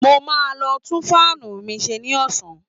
Mo máa lọ tún fáànù mi ṣe ní ọ̀sán